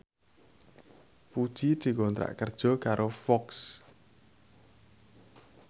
Puji dikontrak kerja karo Fox